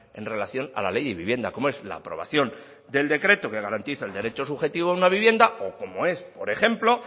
en relación a la ley de vivienda como es la aprobación del decreto que garantice el derecho subjetivo a una vivienda o como es por ejemplo